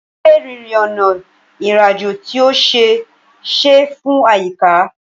Ṣé rírìn ọ̀nà ìrìnàjò tí ó ṣe é ṣe fún àyíká?